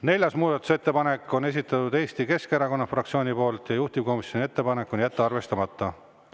Neljanda muudatusettepaneku on esitanud Eesti Keskerakonna fraktsioon, juhtivkomisjoni ettepanek on jätta see arvestamata.